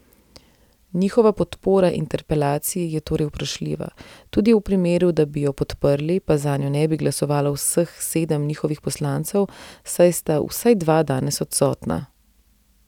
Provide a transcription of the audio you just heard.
Njihova podpora interpelaciji je torej vprašljiva, tudi v primeru, da bi jo podprli, pa zanjo ne bi glasovalo vseh sedem njihovih poslancev, saj sta vsaj dva danes odsotna.